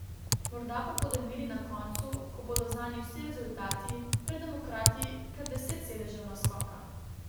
Morda pa bodo imeli na koncu, ko bodo znani vsi rezultati, pred demokrati kar deset sedežev naskoka.